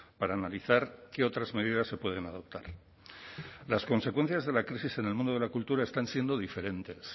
para analizar qué otras medidas se pueden adoptar las consecuencias de la crisis en el mundo de la cultura están siendo diferentes